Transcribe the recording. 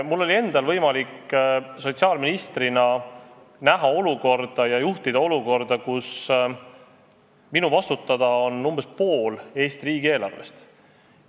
Mul oli endal võimalik sotsiaalministrina juhtida olukorda, kus minu vastutada oli umbes pool Eesti riigieelarvest.